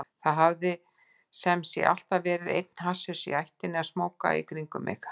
Það hafði sem sé alltaf verið einn hasshaus í ættinni að smóka í kringum mig.